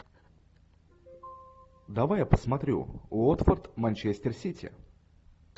давай я посмотрю уотфорд манчестер сити